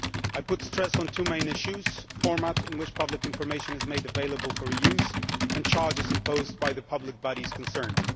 I stressed two main issues the format in which public information is made available for re use, and charges imposed by the public bodies concerned.